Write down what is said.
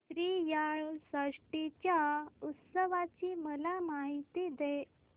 श्रीयाळ षष्टी च्या उत्सवाची मला माहिती दे